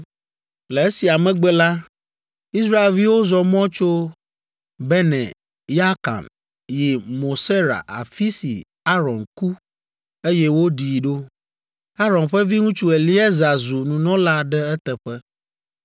“Le esia megbe la, Israelviwo zɔ mɔ tso Bene Yaakan yi Mosera afi si Aron ku, eye woɖii ɖo. Aron ƒe viŋutsu Eleaza zu nunɔla ɖe eteƒe.